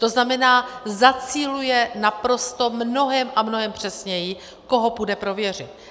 To znamená, zaciluje naprosto mnohem a mnohem přesněji, koho půjde prověřit.